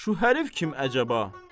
Şu hərif kim əcəba?